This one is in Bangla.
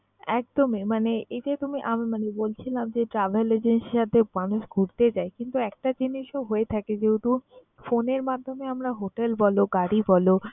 একদমই মানে এই যে তুমি~ আমি মানে বলছিলাম যে, travel agency র সাথে মানুষ ঘুরতে যায় কিন্তু একটা জিনিসও হয়ে থাকে যেহেতু phone এর মাধ্যমে আমরা hotel বল, গাড়ি বল